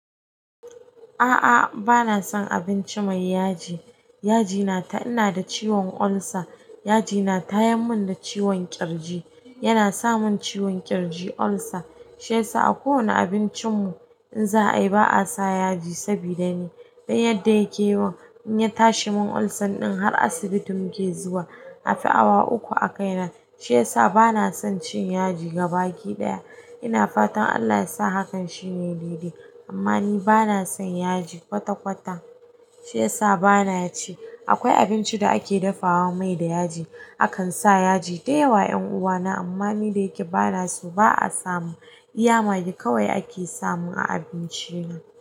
A'a bana son abinci mai yaji. Yaji na ta ina da ciwon ulcer. Yaji na tayamin da ciwon ƙirji. Ya na samun ciwon ƙirji ulcer. Shiyasa a kowane abincin mu in za ai ba a sa yaji sabida me don yadda ya ke yawan in ya tashi mun ulcer ɗin har asibiti muke zuwa. A fi awa uku a kai nan. Shiyasa banasan cin yaji gabaki ɗaya ina fatan Allah yasa hakan shine dede amma ni bana son yaji kwata-kwata. Shi yasa bana ci. Akwai abinci da ake dafawa mai da yaji. Akan sa yaji da yawa 'yan uwa na amma ni da yake bana so ba a samun. Iya magi kawai ake samun a abinci na.